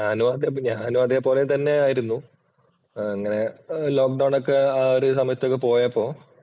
ഞാനും അതെ. ഞാനും അതേപോലെ തന്നെയായിരുന്നു അങ്ങനെ ലോക്ക് ഡൌണ്‍ ഒക്കെ ആ ഒരു സമയത്തൊക്കെ പോയപ്പോൾ